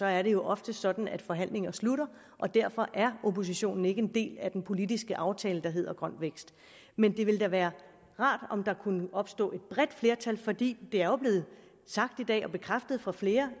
er det jo ofte sådan at forhandlinger slutter og derfor er oppositionen ikke en del af den politiske aftale der hedder grøn vækst men det ville da være rart om der kunne opstå et bredt flertal for det er jo blevet sagt i dag og bekræftet af flere